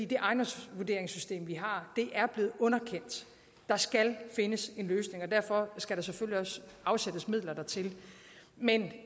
det ejendomsvurderingssystem vi har er blevet underkendt der skal findes en løsning derfor skal der selvfølgelig også afsættes midler dertil men